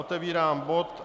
Otevírám bod